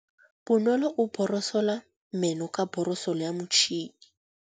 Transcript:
Bonolô o borosola meno ka borosolo ya motšhine.